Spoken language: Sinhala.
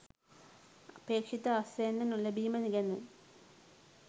අපේක්ෂිත අස්වැන්න නොලැබිම ගැන